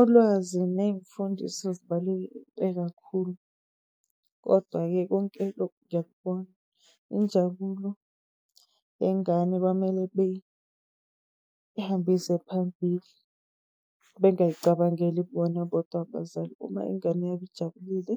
Ulwazi ney'mfundiso sezibaluleke kakhulu, kodwa-ke konke lokhu ngiyakubona. Injabulo yengane bamele beyihambise phambili, bengayicabangeli bona bodwa abazali. Uma ingane yabo ijabulile